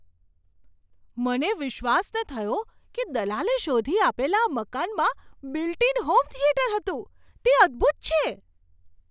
મને વિશ્વાસ ન થયો કે દલાલે શોધી આપેલા આ મકાનમાં બિલ્ટ ઇન હોમ થિયેટર હતું. તે અદ્ભુત છે!